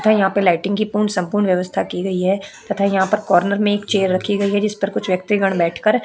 तथा यहां पे लाइटिंग की पूर्ण संपूर्ण व्यवस्था की गई है तथा यहां पर कॉर्नर में एक चेयर रखी गई है जिस पर कुछ व्यक्तीगण बैठकर --